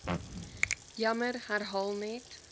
jammer herhaal net